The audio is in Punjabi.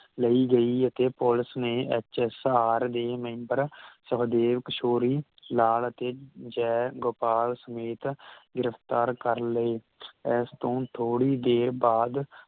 ਲਈ ਗਈ ਅਤੇ ਪੁਲਿਸ ਨੇ ਐਚ ਐੱਸ ਆਰ ਦੇ ਮੇਮ੍ਬਰ ਸਖਦੇਵ ਕਿਸ਼ੋਰੀ ਲਾਲ ਅਤੇ ਜੈ ਗੋਪਾਲ ਸਮੇਤ ਗਿਰਫ਼ਤਾਰ ਕਰਲਏ ਇਸਤੋਂ ਥੋੜੀ ਦੇਰ ਬਾਅਦ